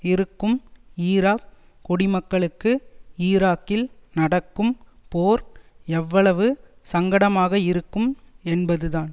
இருக்கும் ஈராக் குடிமக்களுக்கு ஈராக்கில் நடக்கும் போர் எவ்வளவு சங்கடமாகயிருக்கும் என்பதுதான்